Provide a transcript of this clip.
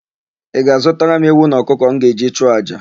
Ị ga-azụtara m ewu na ọkụkọ m ga-eji chụọ àjà?